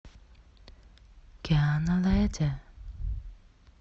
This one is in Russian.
киана леде